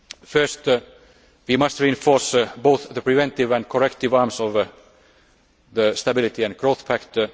First, we must reinforce both the preventive and corrective arms of the Stability and Growth